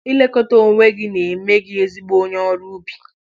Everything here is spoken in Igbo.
Ilekọta onwe gị na-eme gị ezigbo onye ọrụ ubi